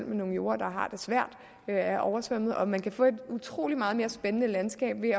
med nogle jorde der har det svært og er oversvømmet og man kan få et utrolig meget mere spændende landskab ved